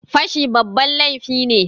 Fashi babban laifi ne.